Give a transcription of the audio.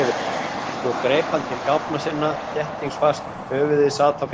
Svo greip hann til gáfna sinna. þéttingsfast, höfuðið sat á fingrinum.